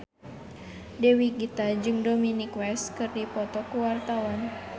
Dewi Gita jeung Dominic West keur dipoto ku wartawan